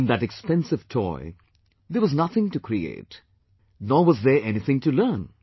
In that expensive toy, there was nothing to create; nor was there anything to learn